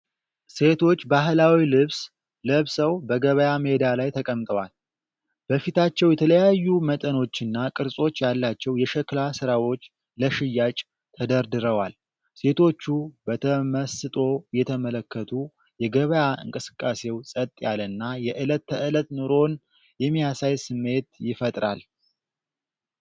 ሴቶች ባህላዊ ልብስ ለብሰው በገበያ ሜዳ ላይ ተቀምጠዋል። በፊታቸው የተለያዩ መጠኖችና ቅርጾች ያላቸው የሸክላ ሥራዎች ለሽያጭ ተደርድረዋል። ሴቶቹ በተመስጦ እየተመለከቱ፣ የገበያ እንቅስቃሴው ፀጥ ያለና የዕለት ተዕለት ኑሮን የሚያሳይ ስሜት ይፈጥራል።